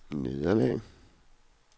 nederlag